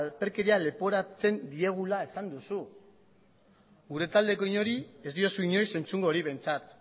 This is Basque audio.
alperkeria leporatzen diegula esan duzu gure taldeko inori ez diozu inoiz entzungo hori behintzat